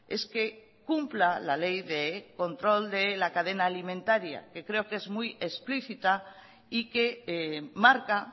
es que cumpla la ley de control de la cadena alimentaria que creo que es muy explícita y que marca